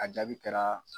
A jaabi kɛra